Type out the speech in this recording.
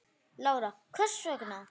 Lára: Hvers vegna?